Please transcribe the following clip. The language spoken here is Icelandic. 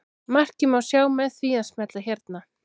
Markið má sjá með því að smella hérna.